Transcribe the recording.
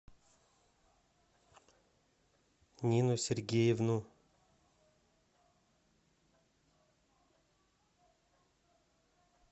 нину сергеевну